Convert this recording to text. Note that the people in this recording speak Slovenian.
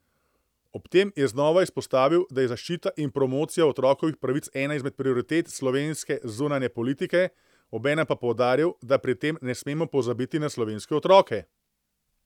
Ob tem je znova izpostavil, da je zaščita in promocija otrokovih pravic ena izmed prioritet slovenske zunanje politike, obenem pa poudaril, da pri tem ne smemo pozabiti na slovenske otroke.